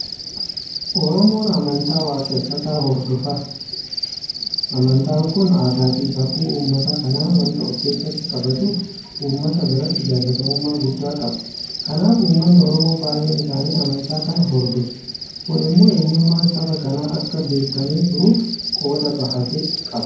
Oromoon amantaa waaqeffataa hordofa. Amantaan kun aadaafi safuu uummata kanaa waanta ofkeessatti qabatuuf uummata biratti jaalatamummaa guddaa qaba. Kanaaf Uummanni Oromoo baay'een isaanii amantaa kana hordofu. Kun immoo eenyummaan saba kanaa akka beekamee turuuf qooda bahate qaba.